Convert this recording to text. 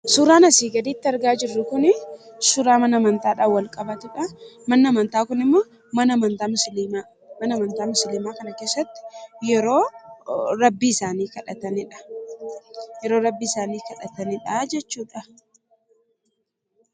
Suuraan asii gaditti argaa jirru kun suuraa mana amantaadhaan wal qabatudha. Manni amantaa kun mana amantaa musliimaa yeroo rabbii isaanii kadhatanidha jechuudha.